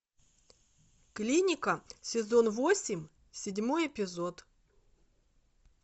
клиника сезон восемь седьмой эпизод